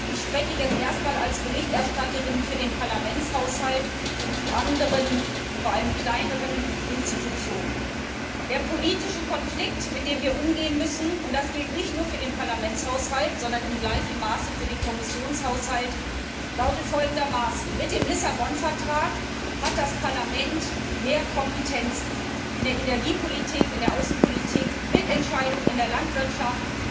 Ich spreche jetzt zuerst einmal als Berichterstatterin für den Parlamentshaushalt und die anderen, vor allem kleineren Institutionen. Der politische Konflikt, mit dem wir umgehen müssen und das gilt nicht nur für den Parlamentshaushalt, sondern in gleichem Maße für den Kommissionshaushalt lautet folgendermaßen Mit dem Lissabon Vertrag hat das Parlament mehr Kompetenzen in der Energiepolitik, in der Außenpolitik, Mitentscheidung in der Landwirtschaft.